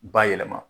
Bayɛlɛma